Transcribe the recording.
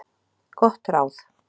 Gott ráð